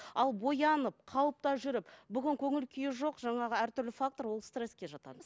ал боянып қалыпта жүріп бүгін көңіл күйі жоқ жаңағы әртүрлі фактор ол стресске жатады